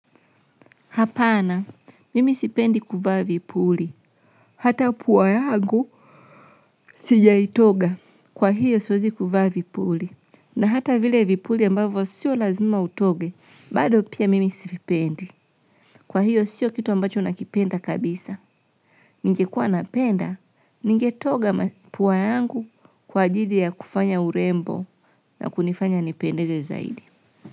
Hapana, mimi sipendi kuvaa vipuli. Hata puwa yangu sijaitoga kwa hiyo siwezi kuvaa vipuli. Na hata vile vipuli ambavo siyo lazima utoge, bado pia mimi sipendi. Kwa hiyo siyo kitu ambacho nakipenda kabisa. Ningekua napenda, ningetoga puwa yangu kwa ajili ya kufanya urembo na kunifanya nipendeze zaidi.